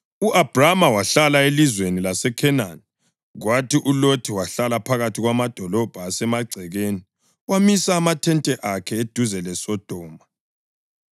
U-Abhrama wahlala elizweni laseKhenani, kwathi uLothi wahlala phakathi kwamadolobho asemagcekeni wamisa amathente akhe eduze leSodoma.